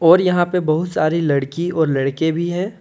और यहां पे बहुत सारे लड़की और लड़के भी है।